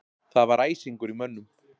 Það var æsingur í mönnum